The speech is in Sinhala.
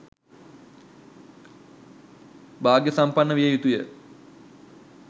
භාග්‍යසම්පන්න විය යුතුයි.